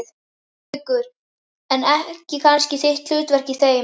Haukur: En ekki kannski þitt hlutverk í þeim?